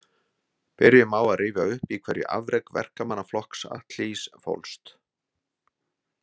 Byrjum á að rifja upp í hverju afrek verkamannaflokks Attlees fólst.